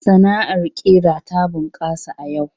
Sana'ar ƙira ta bunƙasa a yau.